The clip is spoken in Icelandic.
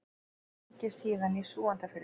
Bjó lengi síðan í Súgandafirði.